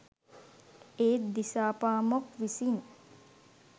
ඒත් දිසාපාමොක් විසින්